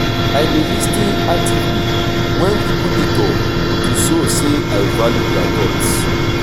i dey lis ten actively wen people dey talk to show sey i value dia thoughts.